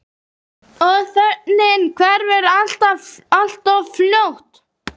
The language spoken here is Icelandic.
Og þögnin hverfur alltof fljótt.